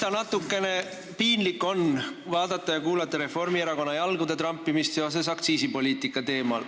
Eks natukene piinlik on vaadata ja kuulata Reformierakonna jalgade trampimist aktsiisipoliitika teemal.